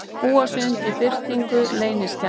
Búa sig undir birtingu leyniskjala